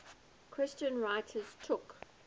christian writers took